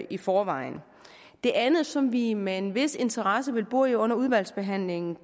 i forvejen det andet som vi med en vis interesse vil bore i under udvalgsbehandlingen